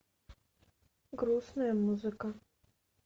грустная музыка